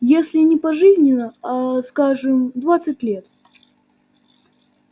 если не пожизненно аа скажем двадцать лет